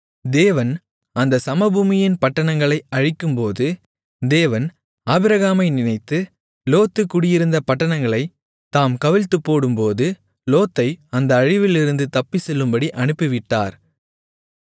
தேவன் அந்தச் சமபூமியின் பட்டணங்களை அழிக்கும்போது தேவன் ஆபிரகாமை நினைத்து லோத்து குடியிருந்த பட்டணங்களைத் தாம் கவிழ்த்துப்போடும்போது லோத்தை அந்த அழிவிலிருந்து தப்பிச்செல்லும்படி அனுப்பிவிட்டார்